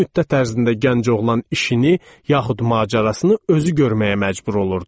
Bu müddət ərzində gənc oğlan işini, yaxud macərasını özü görməyə məcbur olurdu.